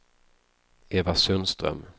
Eva Sundström